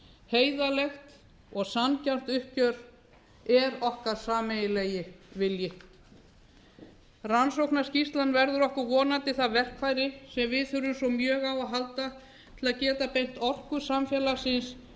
heiðarlegt og sanngjarnt uppgjör er okkar sameiginlegt vilji rannsóknarskýrslan verður okkur vonandi það verkfæri sem við þurfum svo mjög á að halda til að geta beint orku samfélagsins